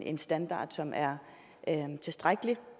en standard som er tilstrækkelig